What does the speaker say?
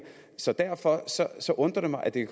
så derfor undrer det mig at det